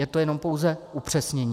Je to jenom pouze upřesnění.